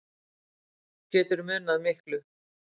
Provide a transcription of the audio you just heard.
Getur munað miklu